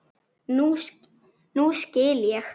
Nú skil ég.